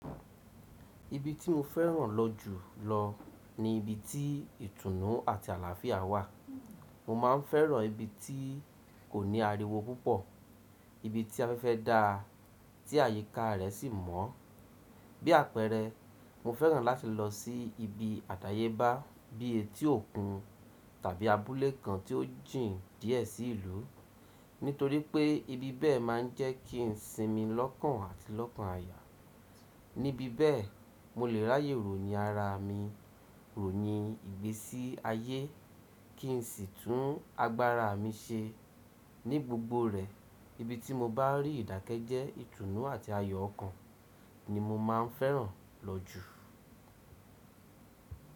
Ibi tí mo fẹ́ràn lọ jù lọ ni ibi tí ìtùnú àti àlàáfíà wà. Mo ma ń fẹ́ràn ibi tí kò ní ariwo púpọ̀, ibi tí afẹ́fẹ́ dáa tí àyíká rẹ̀ sì mọ́. Bí àpẹẹrẹ, mo fẹ́ràn láti lọ sí ibi àdáyébá bí i etí òkun tàbí abúlé kan tí ó jìn díẹ̀ sí ìlú, nítorí pé ibi bẹ́ẹ̀ máa ń jẹ́ kí n sinmi lọ́kàn àti lọ́kàn aya. Níbi bẹ́ẹ̀, mo lè ráyè ròyìn ara mi, ròyìn ìgbésí ayé kí n sì tún agbára mi ṣe. Ní gbogbo rẹ̀, ibi tí mo bá rí ìdákẹ́jẹ́, ìtùnú àti ayọ̀ ọkàn ni mo ma ń fẹ́ràn lọ jù.